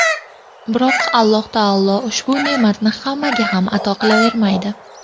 Biroq Alloh taolo ushbu ne’matni hammaga ham ato qilavermaydi.